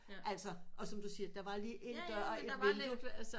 Altså og som du siger der var lige en dør og et vindue